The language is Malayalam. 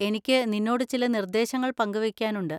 എനിക്കു നിന്നോട് ചില നിർദേശങ്ങൾ പങ്കുവെയ്ക്കാനുണ്ട്.